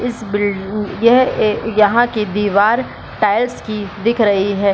इस बिल्ड यह ऐ यहां के दीवार टाइल्स की दिख रही है।